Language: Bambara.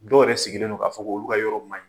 Dɔ yɛrɛ sigilen don, k'a fɔ k'olu ka yɔrɔ maɲi.